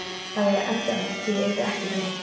Það væri endanlegt, því yrði ekki breytt.